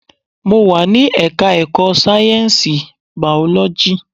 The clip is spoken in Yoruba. Mo wà ní ẹka ẹ̀kọ́ sáyẹnsì biology.